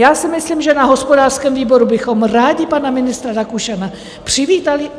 Já si myslím, že na hospodářském výboru bychom rádi pana ministra Rakušana přivítali.